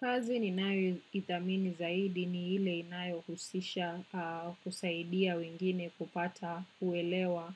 Kazi ninayoithamini zaidi ni ile inayohusisha kusaidia wengine kupata uelewa